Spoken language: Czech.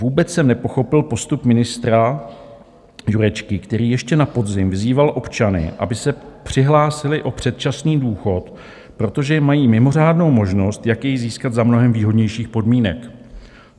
Vůbec jsem nepochopil postup ministra Jurečky, který ještě na podzim vyzýval občany, aby se přihlásili o předčasný důchod, protože mají mimořádnou možnost, jak jej získat za mnohem výhodnějších podmínek.